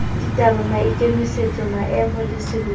ditaba maikemisetso maemo le sebopeho